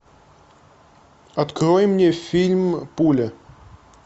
открой мне фильм пуля